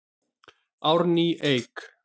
Árný Eik.